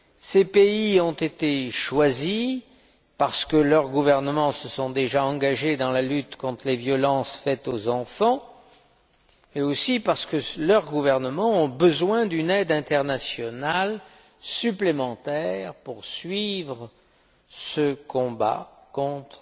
Ces pays ont été choisis parce que leurs gouvernements se sont déjà engagés dans la lutte contre les violences faites aux enfants, mais aussi parce que leurs gouvernements ont besoin d'une aide internationale supplémentaire pour poursuivre ce combat contre